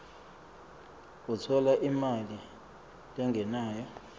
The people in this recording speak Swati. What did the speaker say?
utfola imali lengenako